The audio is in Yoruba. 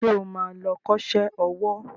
Ṣé o ma lọ kọ́ṣẹ́ owó?